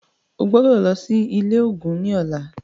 O gbọ́dọ̀ lọ sí ilé ògún ní ọlá.